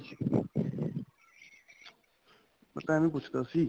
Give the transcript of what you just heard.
ਮੈਂ ਤਾਂ ਐਵੇ ਪੁੱਛਦਾ ਸੀ